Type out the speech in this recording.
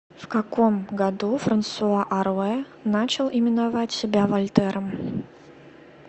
в каком году франсуа аруэ начал именовать себя вольтером